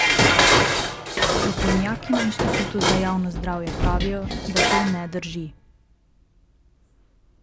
Strokovnjaki na Inštitutu za javno zdravje pravijo, da to ne drži.